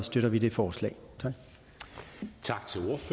støtter vi det forslag tak